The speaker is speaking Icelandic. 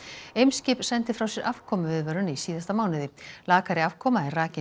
Eimskip sendi frá sér afkomuviðvörun í síðasta mánuði lakari afkoma er rakin